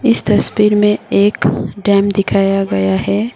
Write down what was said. इस तस्वीर में एक डैम दिखाया गया है।